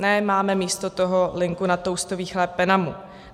Ne, máme místo toho linku na toustový chléb Penamu.